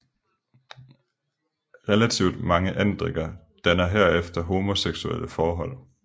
Relativt mange andrikker danner herefter homoseksuelle forhold